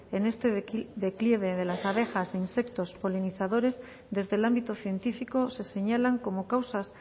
en este declive de las abejas e insectos polinizadores desde el ámbito científico se señalan como causas